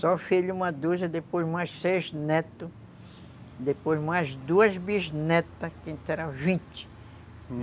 Só filho uma dúzia, depois mais seis netos, depois mais duas bisnetas, que a gente era vinte.